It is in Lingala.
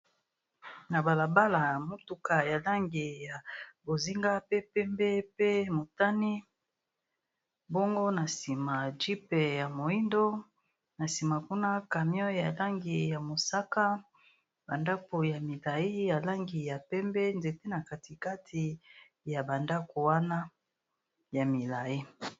Na balabala ya motuka ya langi ya bozinga pe pembe pe motane, bongo na nsima jeep ya moyindo na sima kuna camion ya langi ya mosaka ba ndaku ya milayi ya langi ya pembe, nzete na kati kati ya ba ndaku wana ya molayi .